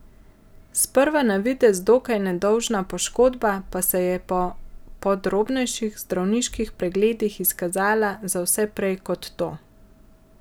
Sprva na videz dokaj nedolžna poškodba pa se je po podrobnejših zdravniških pregledih izkazala za vse prej kot to.